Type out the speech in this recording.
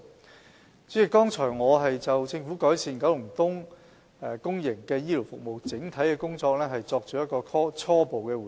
代理主席，剛才我已就政府改善九龍東公營醫療服務的整體工作，作出初步回應。